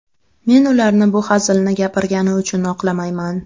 Men ularni bu hazilni gapirgani uchun oqlamayman.